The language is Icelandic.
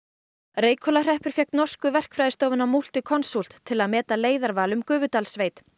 Reykhólahreppur fékk norsku verkfræðistofuna Multiconsult til að meta leiðarval um Gufudalssveit